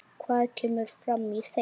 Hvað kemur fram í þeim?